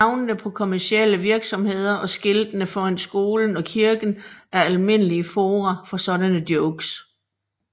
Navnene på kommercielle virksomheder og skiltene foran skolen og kirken er almindelige fora for sådanne jokes